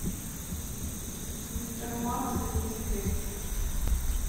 мистер макс и мисс кейти